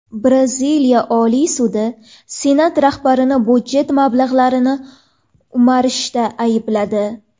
Braziliya Oliy sudi Senat rahbarini budjet mablag‘larini o‘marishda aybladi.